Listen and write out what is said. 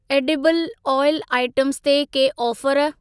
Edible oil items ते के offer?